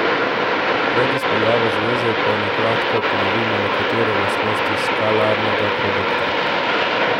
Pred izpeljavo zveze pa na kratko ponovimo nekatere lastnosti skalarnega produkta.